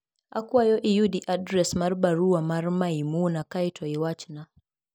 Akwayo iyudi adres mar baruwa mar Maimuna kae to iwachna.